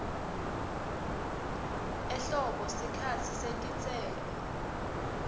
ehlobo sikhatsi setitselo